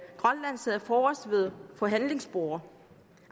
grønland sad forrest ved forhandlingsbordet